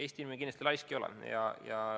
Eesti inimene kindlasti laisk ei ole.